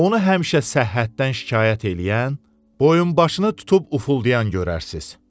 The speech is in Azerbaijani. Onu həmişə səhhətdən şikayət eləyən, boyunbaşını tutub ufuldayan görərsiniz.